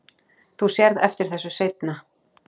Þú sérð eftir þessu seinna.